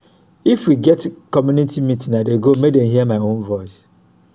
if we get community meeting i dey go make dem hear my own voice.